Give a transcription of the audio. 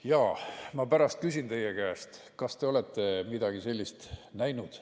Jaa, ma pärast küsin teie käest, kas te olete midagi sellist näinud.